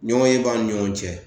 Ɲɔgɔnye b'a ni ɲɔgɔn cɛ